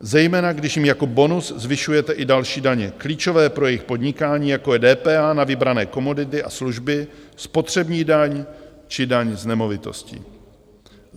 Zejména když jim jako bonus zvyšujete i další daně klíčové pro jejich podnikání, jako je DPH na vybrané komodity a služby, spotřební daň či daň z nemovitostí.